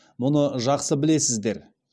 мұны жақсы білесіздер